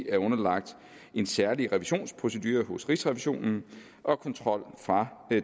er underlagt en særlig revisionsprocedure hos rigsrevisionen og kontrol fra